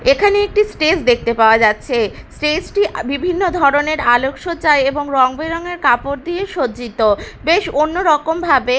এখানে একটি স্টেজ দেখতে পাওয়া যাচ্ছে স্টেজ -টি বিভিন্ন ধরনের আলোক সজ্জায় এবং রং বেরঙের কাপড় দিয়ে সজ্জিত বেশ অন্য রকম ভাবে--